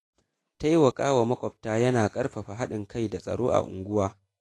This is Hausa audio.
Taimaka wa makwabta yana ƙarfafa haɗin kai da tsaro a unguwa.